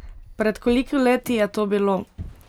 Pred koliko leti je to bilo?